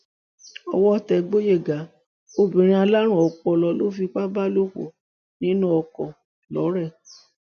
owó tẹ gboyega obìnrin alárùn ọpọlọ ló fipá bá lò pọ nínú ọkọ lọrẹ